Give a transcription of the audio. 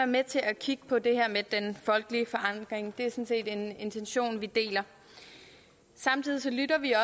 med til at kigge på det her med den folkelige forankring det er sådan set en intention vi deler samtidig lytter vi